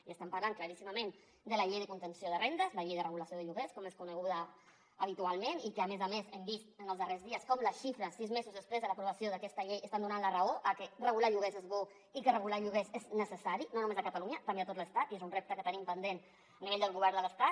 i estem parlant claríssimament de la llei de contenció de rendes la llei de regulació de lloguers com és coneguda habitualment i a més a més hem vist en els darrers dies com les xifres sis mesos després de l’aprovació d’aquesta llei estan donant la raó a que regular lloguers és bo i que regular lloguers és necessari no només a catalunya també a tot l’estat i és un repte que tenim pendent a nivell del govern de l’estat